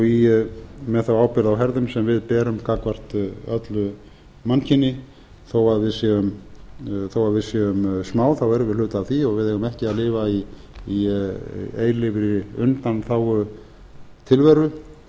með þá ábyrgð á herðum sem við berum gagnvart öllu mannkyni þó við séum smá þá erum við hluti af því og við eigum ekki að lifa í eilífri undanþágutilveru